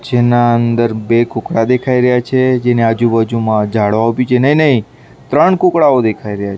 જેનાં અંદર બે કુકડા દેખાય રહ્યા છે જેની આજુ-બાજુમાં ઝાડવાઓ બી છે. નઈ-નઈ ત્રણ કુકડાઓ દેખાય રહ્યા --